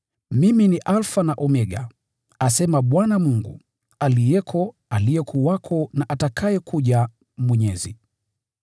“Mimi ni Alfa na Omega,” asema Bwana Mungu, “aliyeko, aliyekuwako na atakayekuja, Mwenyezi.”